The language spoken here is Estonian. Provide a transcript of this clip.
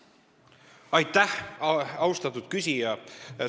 Aitäh, austatud küsija!